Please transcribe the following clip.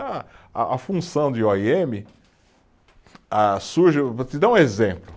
A, a a função de ó i eme, ah surge, eu vou te dar um exemplo.